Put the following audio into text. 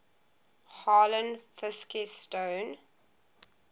harlan fiske stone